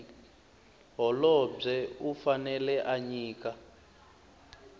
holobye u fanele a nyika